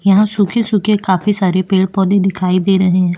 यहाँ सूखे-सूखे काफी सारे पेड़-पौधे दिखाई दे रहे हैं।